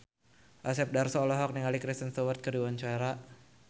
Asep Darso olohok ningali Kristen Stewart keur diwawancara